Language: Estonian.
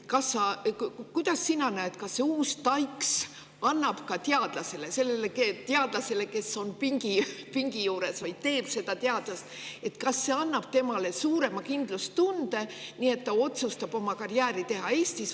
Kuidas sina näed, kas TAIKS annab ka sellele teadlasele, kes on pingi juures ja teeb teadust, suurema kindlustunde, nii et ta otsustab karjääri teha Eestis?